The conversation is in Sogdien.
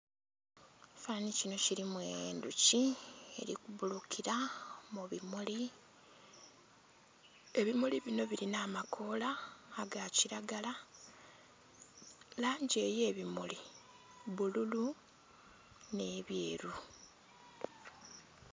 Ekifanhanhi kinho kilimu endhuki eli ku bbulukira mu bimuli, ebimuli binho bilinha amakoola aga kilagala, langi ey'ebimuli bbululu nh'ebyeru.